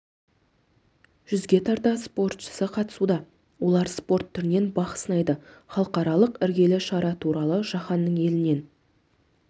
жүзге тарта спортшысы қатысуда олар спорт түрінен бақ сынайды халықаралық іргелі шара туралы жаһанның елінен